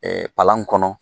Ɛɛ palan kɔnɔ